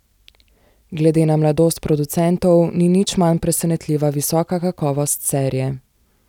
Glede na mladost producentov ni nič manj presenetljiva visoka kakovost serije.